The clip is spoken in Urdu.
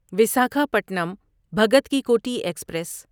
ویساکھاپٹنم بھگت کی کوٹھی ایکسپریس